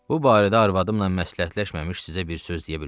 Bu barədə arvadımla məsləhətləşməmiş sizə bir söz deyə bilmərəm.